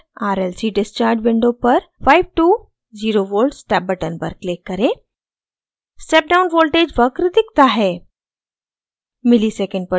eyes junior: rlc discharge window पर 5 to 0v step button पर click करें step down voltage वक्र दिखता है